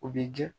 U b'i diya